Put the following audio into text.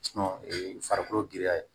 farikolo giriya ye